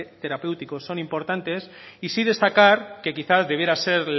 terapéuticos son importantes y sí destacar que quizás debiera ser